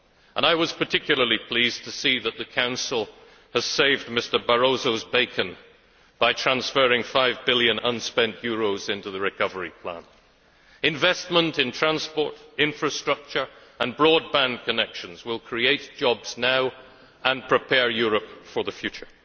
And I was particularly pleased to see that the Council has saved Mr Barroso's bacon by transferring five billion unspent euros into the recovery plan. Investment in transport, infrastructure and broadband connections will create jobs now and prepare Europe for the future.